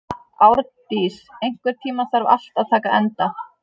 Árndís, einhvern tímann þarf allt að taka enda.